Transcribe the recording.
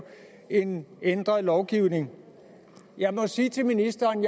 en ændret lovgivning jeg må sige til ministeren